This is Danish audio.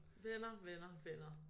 Venner venner venner